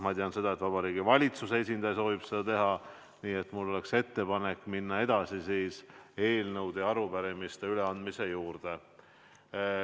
Ma tean, et ka Vabariigi Valitsuse esindaja soovib seda teha, nii et mul on ettepanek minna edasi eelnõude ja arupärimiste üleandmisega.